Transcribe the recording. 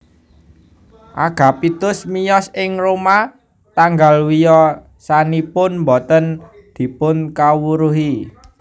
Agapitus miyos ing Roma tanggal wiyosanipun boten dipunkawruhi